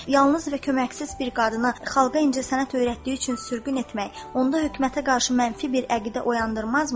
Yalnız və köməksiz bir qadını xalqa incəsənət öyrətdiyi üçün sürgün etmək, onda hökumətə qarşı mənfi bir əqidə oyandırmazmı?